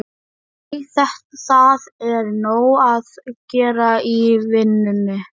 Nei, það er nóg að gera í vinnunni.